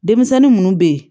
Denmisɛnnin munnu be ye